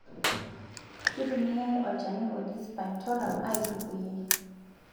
Kitumiyae olchani oji spinetoram aaitukuyie.